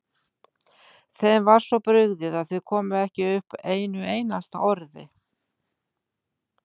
Þeim var svo brugðið að þau komu ekki upp einu einasta orði.